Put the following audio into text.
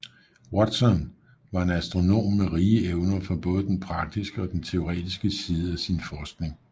Watson var en astronom med rige evner for både den praktiske og den teoretiske side af sin forskning